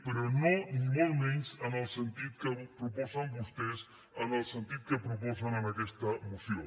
però no ni molt menys en el sentit que proposen vostès en el sentit que proposen en aquesta moció